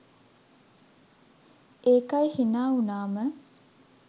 ඒකයි හිනා වුනාම